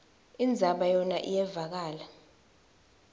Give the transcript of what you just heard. indzaba yona iyevakala